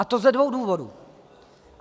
A to ze dvou důvodů.